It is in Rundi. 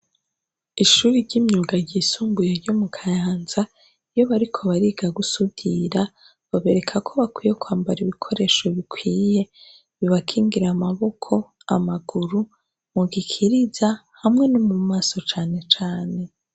ishure ryimyuga ry'isumbuye ryo mu Kayanza, iyo bariko bariga gusudira babereka ko bakwiye kwambar' ibikoresho bikwiye bibakingir' amaboko, amaguru, mu gikiriza hamwe no mu maso cane cane.